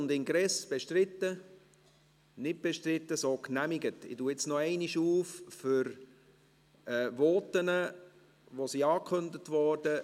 Ich öffne jetzt noch einmal für Voten, welche angekündigt wurden.